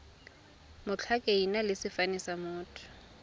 ditlhakaina le sefane sa motho